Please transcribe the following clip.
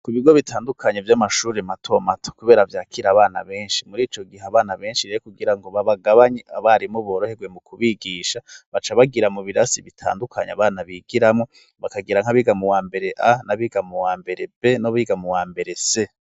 Ku bigo bitandukanye vy'amashuri matomato, kubera vyakire abana benshi, muri ico gihe abana benshi rero kugira ngo babagabanye, abarimu boroherwe mu kubigisha, baca bagira mu birasi bitandukanye abana bigiramwo, bakagira nk'abiga mu wa mbere A n'abiga mu wa mbere B n'abiga mu wa mbere C.